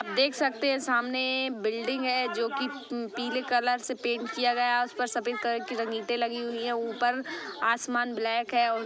आप देख सकते हैं सामने बिल्डिंग है जोकि पीले कलर से पेंट किया गया है उस पर सफेद कलर की ईटे लगी हुई है ऊपर आसमान ब्लैक है।